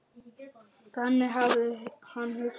Þannig hafði hann hugsað.